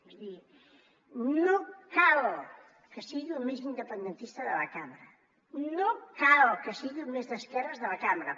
és a dir no cal que sigui el més independentista de la cambra no cal que sigui el més d’esquerres de la cambra